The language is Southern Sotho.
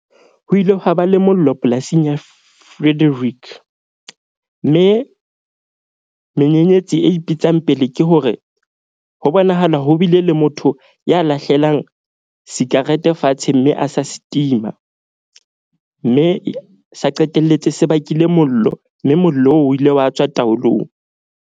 Ho ile hwa ba le mollo polasing ya Frederick. Mme menyenyetsi e ipitsang pele ke hore ho bonahala ho bile le motho ya lahlelang sikarete fatshe, mme a sa se tima. Mme sa qetelletse se bakile mollo mme mollo oo o ile wa tswa taolong.